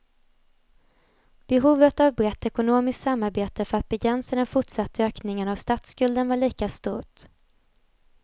Behovet av brett ekonomiskt samarbete för att begränsa den fortsatta ökningen av statsskulden var lika stort.